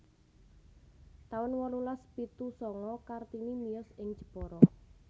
taun wolulas pitu sanga Kartini miyos ing Jepara